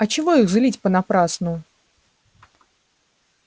а чего их злить понапрасну